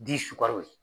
Di sukaro yen